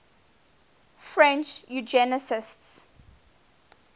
french eugenicists